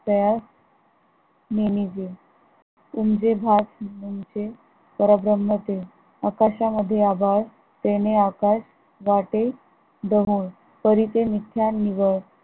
त्या नेनेजे उमजे भाग म्हणजे परभ्रम ते आकाशा मध्ये आभाळ तेणे आकाश वाटे दुरून परिसें निशा निवळ